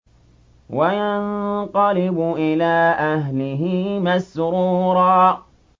وَيَنقَلِبُ إِلَىٰ أَهْلِهِ مَسْرُورًا